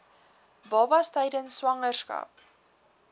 baba tydens swangerskap